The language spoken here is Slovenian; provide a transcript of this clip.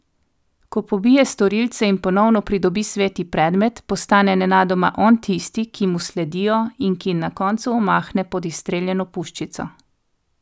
Ko pobije storilce in ponovno pridobi sveti predmet, postane nenadoma on tisti, ki mu sledijo in ki na koncu omahne pod izstreljeno puščico.